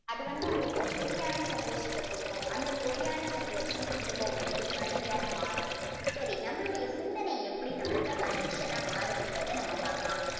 அது வந்து உங்களுக்கு ஒரு பொய்யான சந்தோஷத்தை கொடுக்கும் அந்த பொய்யான சந்தோஷம் திரும்ப உங்களுக்கு வலியா மாறும். சரி நம்மளுடைய சிந்தனை எப்படி நம்மளுக்கு addiction ஆ மாறுதுன்றத நம்ம பார்க்கலாம்.